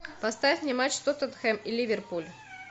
поставь мне матч тоттенхэм и ливерпуль